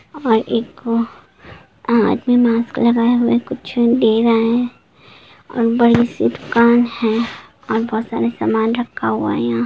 -- और एक आदमी मास्क लगाए हुए कुछ ले रहा है और बड़ी-सी दुकान है और बहुत सारा सामान रखा हुआ है यहाँ।